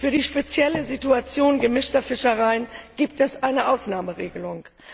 Für die spezielle Situation gemischter Fischereien gibt es eine Ausnahmeregelung.